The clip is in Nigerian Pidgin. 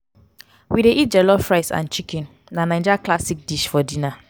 we dey love eat jollof rice and chicken na naija classic dish for dinner.